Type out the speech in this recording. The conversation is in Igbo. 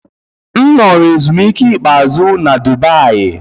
M nọrọ ezumike ikpeazụ na Dubayi.